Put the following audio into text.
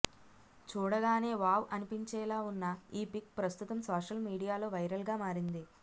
చూడగానే వావ్ అనిపించేలా ఉన్న ఈ పిక్ ప్రస్తుతం సోషల్ మీడియాలో వైరల్గా మారింది